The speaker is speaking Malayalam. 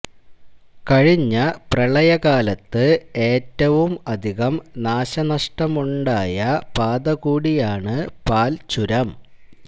കഴിഞ്ഞ പ്രളയകാലത്ത് ഏറ്റവും അധികം നാശനഷ്ടമുണ്ടായ പാത കൂടിയാണ് പാല്ച്ചുരം